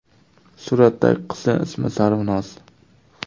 Suratdagi qizning ismi Sarvinoz.